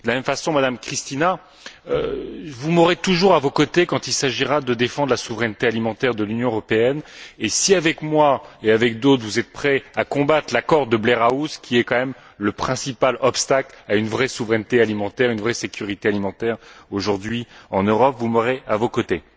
De la même façon, Mme Muscardini, vous m'aurez toujours à vos côtés quand il s'agira de défendre la souveraineté alimentaire de l'Union européenne et si, avec moi et avec d'autres, vous êtes prête à combattre l'accord de Blair House, qui est quand même le principal obstacle à une vraie souveraineté alimentaire, à une vraie sécurité alimentaire aujourd'hui en Europe, vous m'aurez à vos côtés.